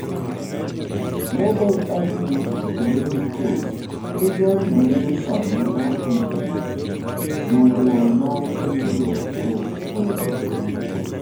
Global aggregate economic cost e value manyasani mar region, nyoluoro mar yuto kod holo.